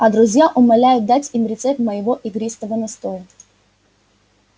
а друзья умоляют дать им рецепт моего игристого настоя